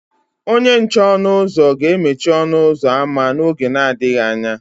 Onye nche ọnụ ụzọ ga-emechi ọnụ ụzọ ámá n'oge adịghị anya.